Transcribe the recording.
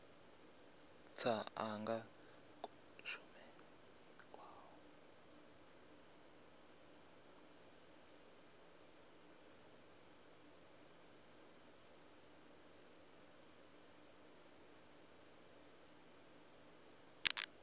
tsha anga kushumele kwa u